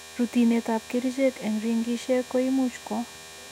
Rutinetab kerichek en ringishek ko imuch ko